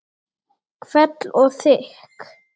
Hvell og þykk.